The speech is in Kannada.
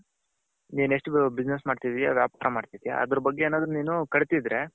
ನೀನು ಎಷ್ಟು business ಮಾಡ್ತಿದ್ಯ ವ್ಯಾಪಾರ ಮಾಡ್ತಿದ್ಯ ಅದರ ಬಗ್ಗೆ ಏನಾದ್ರು ಕಲ್ತಿದ್ರೆ .